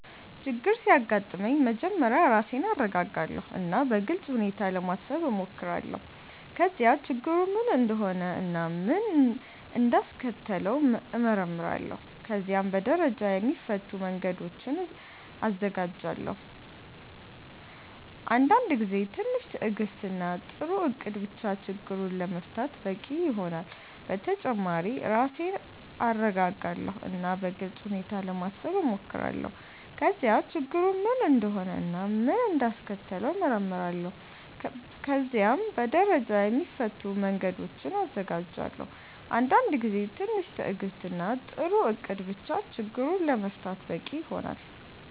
ችግር ሲያጋጥመኝ መጀመሪያ ራሴን እረጋጋለሁ እና በግልጽ ሁኔታ ለማሰብ እሞክራለሁ። ከዚያ ችግሩ ምን እንደሆነ እና ምን እንዳስከተለው እመረምራለሁ። ከዚያም በደረጃ የሚፈቱ መንገዶችን እዘጋጃለሁ። አንዳንድ ጊዜ ትንሽ ትዕግስት እና ጥሩ እቅድ ብቻ ችግሩን ለመፍታት በቂ ይሆናል። በተጨማሪ ራሴን እረጋጋለሁ እና በግልጽ ሁኔታ ለማሰብ እሞክራለሁ። ከዚያ ችግሩ ምን እንደሆነ እና ምን እንዳስከተለው እመረምራለሁ። ከዚያም በደረጃ የሚፈቱ መንገዶችን እዘጋጃለሁ። አንዳንድ ጊዜ ትንሽ ትዕግስት እና ጥሩ እቅድ ብቻ ችግሩን ለመፍታት በቂ ይሆናል።